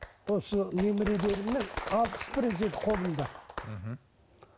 осы қолымда мхм